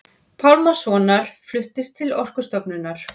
Pálmasonar fluttist til Orkustofnunar.